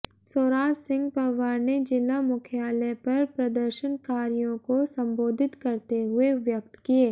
सौराज सिंह पंवार ने जिला मुख्यालय पर प्रदर्शनकारियों को संबोधित करते हुए व्यक्त किए